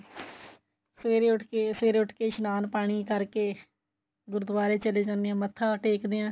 ਸਵੇਰੇ ਉੱਠ ਕੇ ਸਵੇਰੇ ਉਠ ਕੇ ਇਸ਼ਨਾਨ ਪਾਣੀ ਕਰਕੇ ਗੁਰਦੁਵਾਰੇ ਚਲੇ ਜਾਂਦੇ ਆ ਮੱਥਾ ਟੇਕਦੇ ਆ